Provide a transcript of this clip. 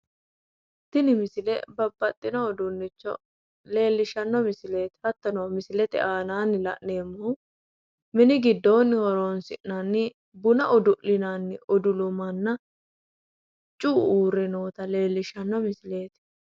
Tini misile babbaxxino uduunnicho leellishshanno misileeti hattono misilete aanaanni la'nemmohu mini giddoonni horonsi'nanni buna udu'linanni udulumanna cu"u uurre noota leellishshanno misileeti.